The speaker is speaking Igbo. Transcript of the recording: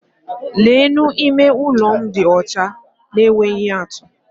Leenụ! Ime ụlọ m dị ọcha na-enweghị atú!